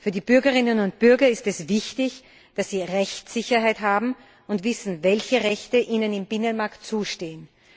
Für die Bürgerinnen und Bürger ist es wichtig, dass sie Rechtssicherheit haben und wissen, welche Rechte ihnen im Binnenmarkt zustehen.